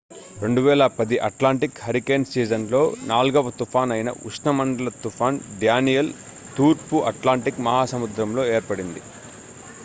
2010 Atlantic hurricane సీజన్లో నాల్గవ తుఫాన్ అయిన ఉష్ణమండల తుఫాన్ డ్యానియెల్ తూర్పు అట్లాంటిక్ మహాసముద్రంలో ఏర్పడింది